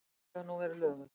Villan hefur nú verið löguð